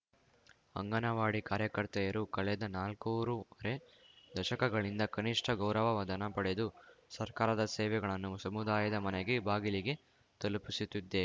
ಅಂಗನವಾಡಿ ಕಾರ್ಯಕರ್ತೆಯರು ಕಳೆದ ನಾಲ್ಕೂರುವರೆ ದಶಕಗಳಿಂದ ಕನಿಷ್ಠ ಗೌರವವಧನ ಪಡೆದು ಸರ್ಕಾರದ ಸೇವೆಗಳನ್ನು ಸಮುದಾಯದ ಮನೆಗೆ ಬಾಗಿಲಿಗೆ ತಲುಪಿಸುತ್ತಿದ್ದೇ